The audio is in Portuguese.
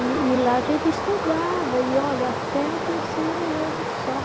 E e lá a gente estudava, e olha, até o terceiro ano só.